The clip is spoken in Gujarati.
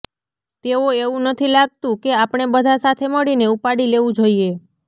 તેઓ એવું નથી લાગતું કે આપણે બધા સાથે મળીને ઉપાડી લેવું જોઈએ